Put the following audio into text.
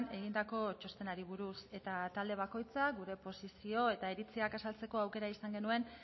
egindako txostenari buruz eta talde bakoitzak gure posizio eta iritziak azaltzeko aukera izan genuen